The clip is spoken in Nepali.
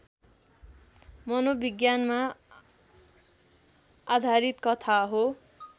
मनोविज्ञानमा आधारित कथा हो